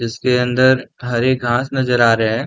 इसके अंदर हरे घास नजर आ रहें हैं।